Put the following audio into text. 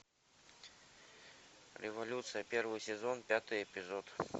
революция первый сезон пятый эпизод